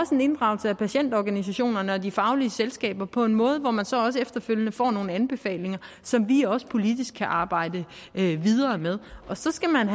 en inddragelse af patientorganisationerne og de faglige selskaber på en måde hvor man så også efterfølgende får nogle anbefalinger som vi også politisk kan arbejde videre med så skal man